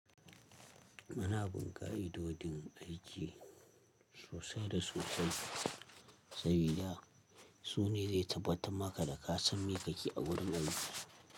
Ana bun kai'idodin aiki sosai da sosai, sabida su ne zai tabbata maka da ka san miƙaƙe a wurin aiki.